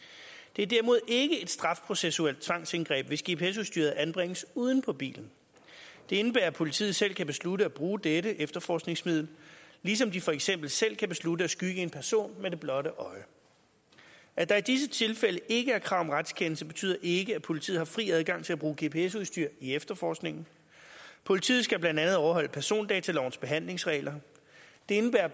det er derimod ikke et straffeprocessuelt tvangsindgreb hvis gps udstyret anbringes uden på bilen det indebærer at politiet selv kan beslutte at bruge dette efterforskningsmiddel ligesom de for eksempel selv kan beslutte at skygge en person med det blotte øje at der i disse tilfælde ikke er krav om retskendelse betyder ikke at politiet har fri adgang til at bruge gps udstyr i efterforskningen politiet skal blandt andet overholde persondatalovens behandlingsregler det indebærer